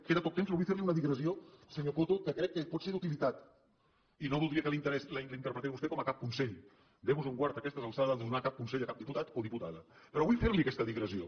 queda poc temps però vull fer li una digressió senyor coto que crec que pot ser d’utilitat i no voldria que la interpretés vostè com a cap consell déu nos en guard a aquestes alçades de donar cap consell a cap diputat o diputada però vull fer li aquesta digressió